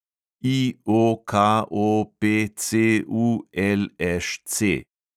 IOKOPCULŠC